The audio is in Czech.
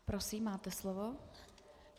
Prosím, máte slovo.